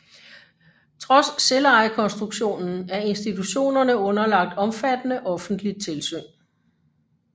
Trods selvejekonstruktionen er institutionerne underlagt omfattende offentligt tilsyn